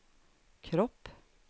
kropp